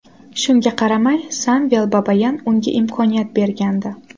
Shunga qaramay Samvel Babayan unga imkoniyat bergandi.